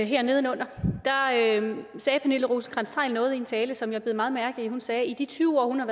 her nedenunder sagde pernille rosenkrantz theil noget i en tale som jeg bed meget mærke i hun sagde at i de tyve år hun